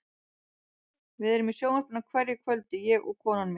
Við erum í sjónvarpinu á hverju kvöldi, ég og konan mín.